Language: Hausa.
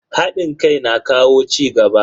Hadin kai na kawo cigaba.